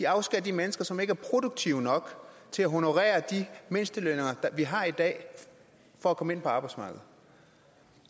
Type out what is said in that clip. afskærer de mennesker som ikke er produktive nok til at honorere de mindstelønninger vi har i dag for at komme ind på arbejdsmarkedet